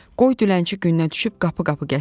Qoy dilənçi günə düşüb qapı-qapı gəzsin.